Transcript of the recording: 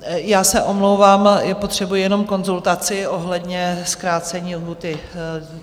Já se omlouvám, potřebuji jenom konzultaci ohledně zkrácení lhůty.